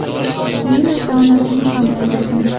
Keyin esa onasini ham o‘ldirgan.